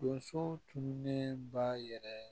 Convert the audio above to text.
Donso tunnen b'a yɛrɛ